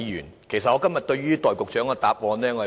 我非常不滿今天局長的答案。